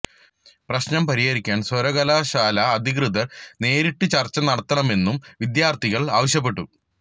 പ്രശ്നം പരിഹരിക്കാന് സര്വകലാശാല അധികൃതര് നേരിട്ട് ചര്ച്ച നടത്തണമെന്നും വിദ്യാര്ത്ഥികള് ആവശ്യപ്പെട്ടു